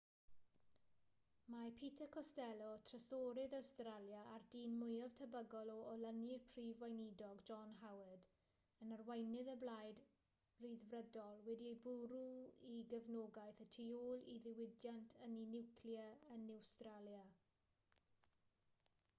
mae peter costello trysorydd awstralia a'r dyn mwyaf tebygol o olynu'r prif weinidog john howard yn arweinydd y blaid ryddfrydol wedi bwrw'i gefnogaeth y tu ôl i ddiwydiant ynni niwclear yn awstralia